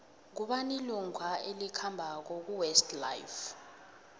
ngubani ilunga elikhambako kuwest life